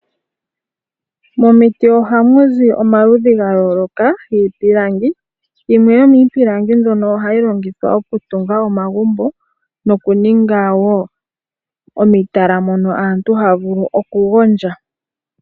Momiti ohamu zi omaludhi ga yooloka giipilangi, yimwe yomiipilangi mbyono ohayi longithwa oku tunga omagumbo, no kuninga woo omitala, mono aantu haya vulu oku gondja.